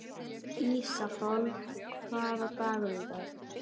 Ísafold, hvaða dagur er í dag?